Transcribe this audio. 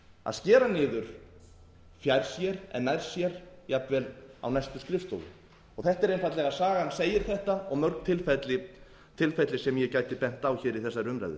að skera niður fjær sér en nær sér jafnvel á næstu skrifstofu sagan segir þetta og mörg tilfelli sem ég gæti bent á í þessari umræðu